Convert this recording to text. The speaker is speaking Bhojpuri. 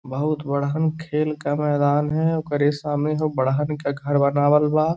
बहुत बढ़हन खेल का मैदान है ओकरे सामने हऊ बढ़हन क घर बनावल बा।